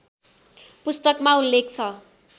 पुस्तकमा उल्लेख छ